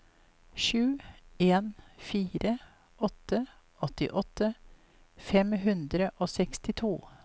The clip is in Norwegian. sju en fire åtte åttiåtte fem hundre og sekstito